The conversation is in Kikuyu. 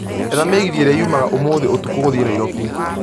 etha mĩgithi ĩria yũmaga ũmũthĩ ũtũkũ gũthiĩ nairobi